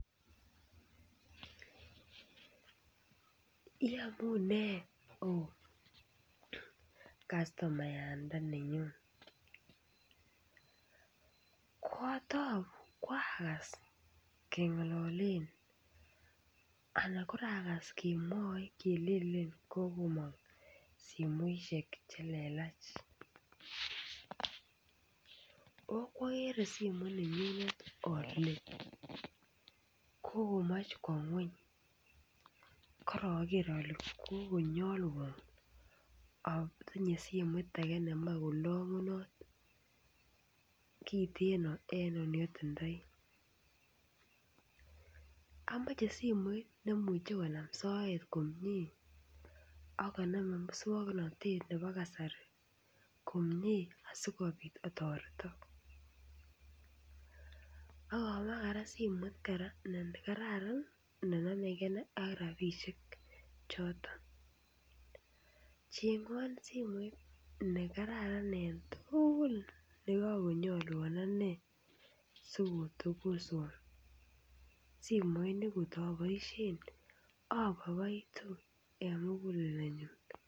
Iamune oo kastomandetnenyu. Kaotou koaagas keng'alalen anan kokorakas kemwaei kelelen kokomong simoshek chelelach. Okokwokere simoit nenyun ole kokomech kwo ng'ony, koroker ole kokonyolwo atinye simoit age nenyolunot kiteen kosiir neotindoi. Amache simet nemuch konam soet komie akonome musoknotet nebo kasari komie asikobiit atoretok. Akamache kora simet nekararan nenomekei ak rabiishek choton. Cheeng'won simoit nekararan eng tugul nekakonyolwon ane sikotokoswo. Simoit nekootoboisien aboiboitune eng muguleldanyu.